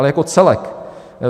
Ale jako celek.